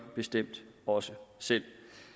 bestemt også selv